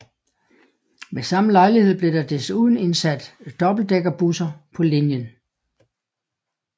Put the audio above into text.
Ved samme lejlighed blev der desuden indsat dobbeltdækkerbusser på linjen